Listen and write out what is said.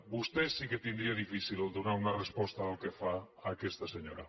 vostè sí que tindria difícil donar una resposta del que fa a aquesta senyora